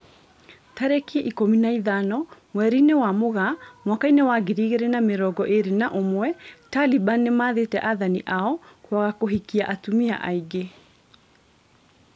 Tariki ikũmi na ithano mweri-inĩ wa Mũgaa mwaka wa ngiri igĩrĩ na mĩrongo ĩrĩ na ũmwe, Taliban nĩmathĩte athani ao kwaga kũhikia atumia aingĩ